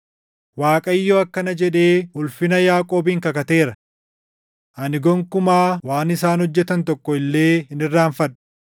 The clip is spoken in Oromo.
Waaqayyo akkana jedhee ulfina Yaaqoobiin kakateera; “Ani gonkumaa waan isaan hojjetan tokko illee hin irraanfadhu.